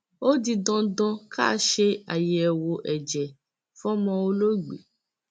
ó di dandan ká ṣe àyẹwò ẹjẹ fọmọ olóògbé